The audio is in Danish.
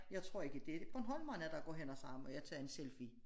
Jeg tror ikke det er bornholmerne der går hen og siger må jeg tage en selfie